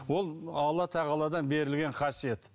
ол алла тағаладан берілген қасиет